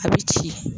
A bɛ ci